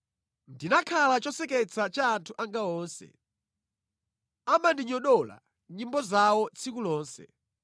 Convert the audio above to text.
Ndinakhala choseketsa cha anthu anga onse; amandinyodola mʼnyimbo zawo tsiku lonse.